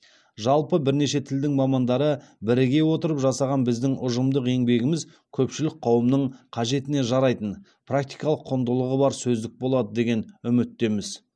жалпы бірнеше тілдің мамандары біріге отырып жасаған біздің ұжымдық еңбегіміз көпшілік қауымның қажетіне жарайтын практикалық құндылығы бар сөздік болады деген үміттеміз